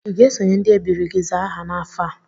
I ga-esonye ndị ebiri gị zaa aha n'afọ a?